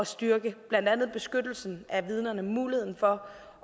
styrke blandt andet beskyttelsen af vidnerne muligheden for